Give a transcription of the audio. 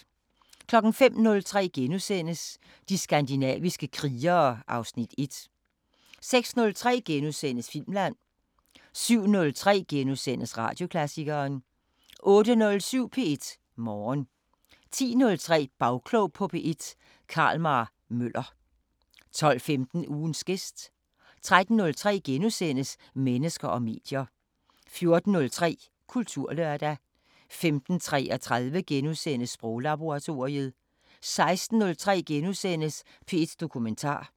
05:03: De skandinaviske krigere (Afs. 1)* 06:03: Filmland * 07:03: Radioklassikeren * 08:07: P1 Morgen 10:03: Bagklog på P1: Carl-Mar Møller 12:15: Ugens gæst 13:03: Mennesker og medier * 14:03: Kulturlørdag 15:33: Sproglaboratoriet * 16:03: P1 Dokumentar *